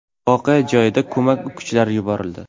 Voqea joyiga ko‘mak kuchlari yuborildi.